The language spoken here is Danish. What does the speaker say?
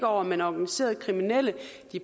over men organiserede kriminelle